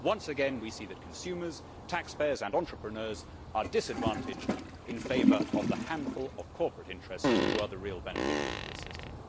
Once again, we see that consumers, taxpayers and entrepreneurs are disadvantaged in favour of the handful of corporate interests which are the real beneficiaries of this system.